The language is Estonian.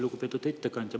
Lugupeetud ettekandja!